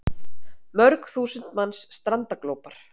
Mörg þúsund manns strandaglópar